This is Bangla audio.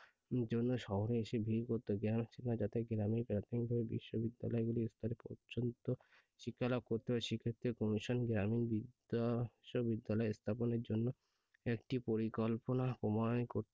জন্য শহরে এসে ভিড় করত। গ্রামের ছেলে মেয়েরা যাতে গ্রামেই প্রাথমিকভাবে বিশ্ববিদ্যালয়গুলির স্তর পর্যন্ত শিক্ষা লাভ করতে পারে সেক্ষেত্রে commission গ্রামীণ বিশ্ববিদ্যালয় স্থাপনের জন্য একটি পরিকল্পনা প্রণয়ন করতে